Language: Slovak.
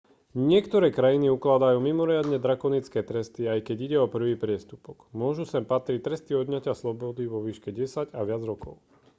niektoré krajiny ukladajú mimoriadne drakonické tresty aj keď ide o prvý priestupok môžu sem patriť tresty odňatia slobody vo výške 10 a viac rokov